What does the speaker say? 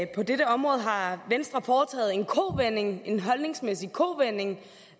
at på dette område har venstre foretaget en kovending en holdningsmæssig kovending